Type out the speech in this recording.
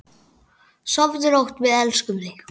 Sofðu rótt, við elskum þig.